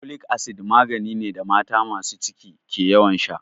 Folic acid magani ne da mata masu ciki ke ƴawan sha.